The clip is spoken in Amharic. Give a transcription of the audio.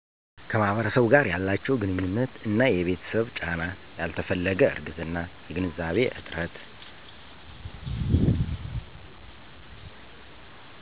ከማህበረሰቡ ጋር ያላችው ግንኙነት እና የቤተሰብ ጫና ያልተፈለገ እርግዝና የግንዛቤ እጥረት